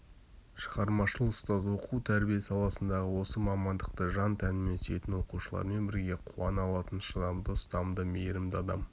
шығармашыл ұстаз оқу-тәрбие саласындағы осы мамандықты жан-тәнімен сүйетін оқушылармен бірге қуана алатын шыдамды ұстамды мейрімді адам